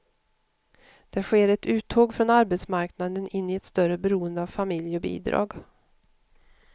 Det sker ett uttåg från arbetsmarknaden in i ett större beroende av familj och bidrag.